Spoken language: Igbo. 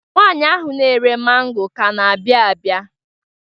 Nwaanyị ahụ na-ere mango ka na-abịa abịa.